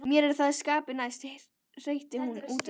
Mér er það skapi næst, hreytti hún útúr sér.